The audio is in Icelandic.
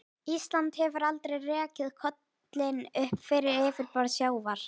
Ísland hefur aldrei rekið kollinn upp fyrir yfirborð sjávar.